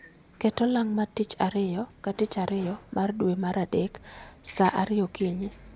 Ket olang matich ariyo ka tich ariyo mar dwe mar adek sa ariyo okinyi